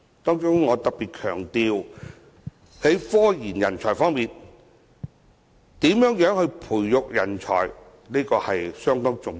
當中，我特別強調在科研人才方面，如何培育人才尤其重要。